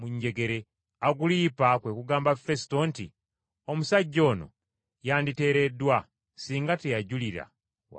Agulipa kwe kugamba Fesuto nti, “Omusajja ono yanditeereddwa singa teyajulira wa Kayisaali.”